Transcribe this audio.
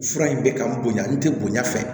Fura in bɛ ka n bonya n tɛ bonya fɛ